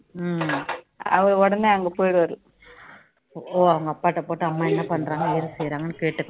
அவங்க அப்பா கிட்ட போட்டு அம்மா என்ன பண்றாங்க ஏது செய்றாங்கன்னு கேட்டுக்கனும்